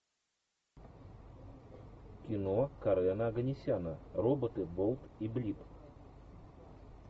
кино карена оганесяна роботы болт и блип